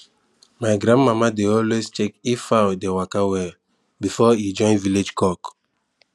my grandmama dey always check if fowl dey waka well before e join village cock